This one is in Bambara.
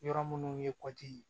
Yɔrɔ minnu ye kɔti ye